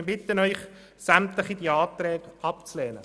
Wir bitten Sie, sämtliche Anträge abzulehnen.